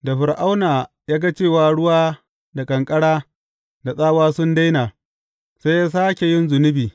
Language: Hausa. Da Fir’auna ya ga cewa ruwa da ƙanƙara da tsawa sun daina, sai ya sāke yin zunubi.